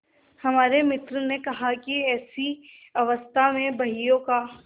हमारे मित्र ने कहा कि ऐसी अवस्था में बहियों का